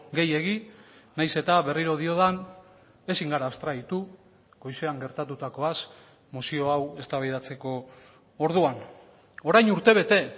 gehiegi nahiz eta berriro diodan ezin gara abstraitu goizean gertatutakoaz mozio hau eztabaidatzeko orduan orain urtebete